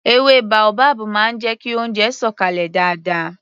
Èwe baobab máa ń jẹ kí oúnjẹ sọ̀ kalẹ̀ dáadáa